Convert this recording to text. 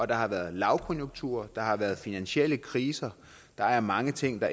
der har været lavkonjunkturer der har været finansielle kriser der er mange ting der